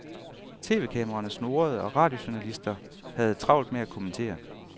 Tv-kameraerne snurrede og radiojournalister havde travlt med at kommentere.